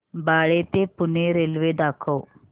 बाळे ते पुणे रेल्वे दाखव